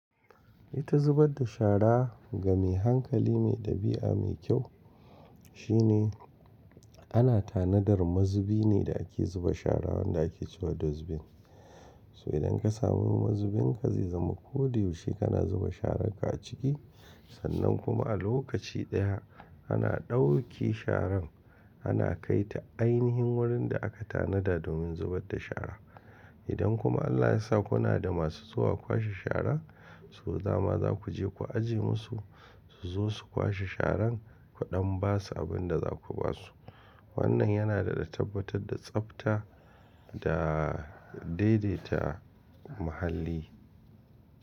Ita zubar da shara ga mai hankali mai ɗabi'a mai kyau shine ana tanadar mazubi ne da ake zuba shara wanda ake cewa da zubin. So idan ka samu mazubin ka zai zama ko duk yushe ka na zuba sharan ka a ciki, sannan kuma a lokaci ɗaya ana ɗauki sharan ana kai ta ainihin wurin da aka tanada domin zubar da shara. Idan kuma Allah ya sa kuna da masu zuwa kwashe shara, so dama za ku je ku ajiye musu su zo su kwashe sharan ku ɗan ba su abin da za ku ba su. Wannan yana da tabbatar da tsafta da daidaita muhalli.